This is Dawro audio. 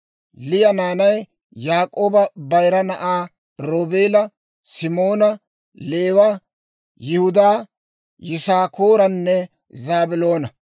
Liya naanay Yaak'ooba bayira na'aa Roobeela, Simoona, Leewa, Yihudaa, Yisaakooranne Zaabiloona.